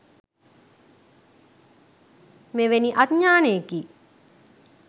මෙවැනි අඥානයෙකි.